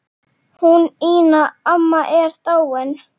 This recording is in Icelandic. Hún Ína amma er dáin.